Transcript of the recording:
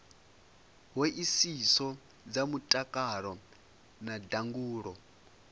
hoisiso dza mutakalo na ndangulo